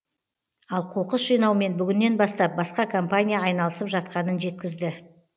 ал қоқыс жинаумен бүгіннен бастап басқа компания айналысып жатқанын жеткізді